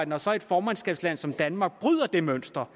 når så et formandskabsland som danmark bryder det mønster